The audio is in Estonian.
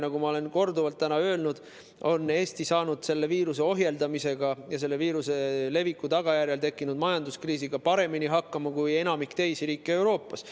Nagu ma olen täna korduvalt öelnud, Eesti on saanud selle viiruse ohjeldamisega ja selle viiruse leviku tagajärjel tekkinud majanduskriisiga paremini hakkama kui enamik teisi riike Euroopas.